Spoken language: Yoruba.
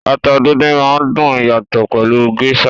Ata díndín máa dùn yàtọ̀ pẹlú Gééṣà.